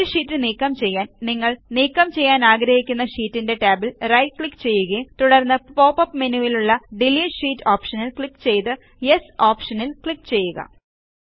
ഒരു ഷീറ്റ് നീക്കം ചെയ്യാൻ നിങ്ങൾ നീക്കം ചെയ്യാനാഗ്രഹിക്കുന്ന ഷീറ്റിൻറെ ടാബിൽ റൈറ്റ് ക്ലിക്ക് ചെയ്യുകയും തുടർന്ന് പോപ്പപ്പ് മെനുവിലുള്ളDelete ഷീറ്റ് ഓപ്ഷനിൽ ക്ലിക്ക് ചെയ്തു യെസ് ഓപ്ഷനിൽ ക്ലിക്ക് ചെയ്യുക